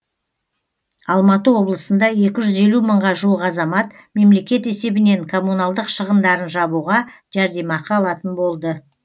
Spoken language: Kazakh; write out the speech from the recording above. алматы облысында екі жүз елу мыңға жуық азамат мемлекет есебінен коммуналдық шығындарын жабуға жәрдемақы алатын болды